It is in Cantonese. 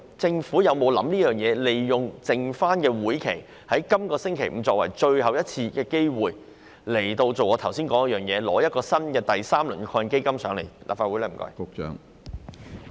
政府有否考慮利用這屆立法會餘下的時間，即在本星期五最後一次財委會會議上，提出第三輪基金的建議？